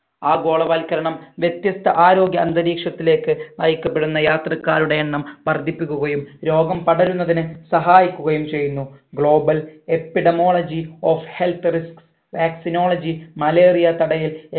ആഗോളവത്കരണം വ്യത്യസ്ത ആരോഗ്യ അന്തരീക്ഷത്തിലേക്ക് നയിക്കപ്പെടുന്ന യാത്രക്കാരുടെ എണ്ണം വർധിപ്പിക്കുകയും രോഗം പടരുന്നതിന് സഹായിക്കുകയും ചെയ്യന്നു global epidemiology of health risk vaccinology malaria തടയൽ